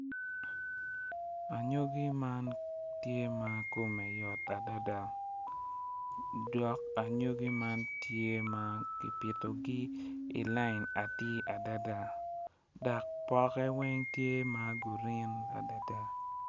Anyogi man tye ma kome yoy adada dok anyogi man tye ma ki pitogi i lain atir adada dok poke weng tye ma gurin adada.